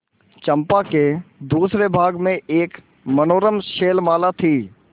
चंपा के दूसरे भाग में एक मनोरम शैलमाला थी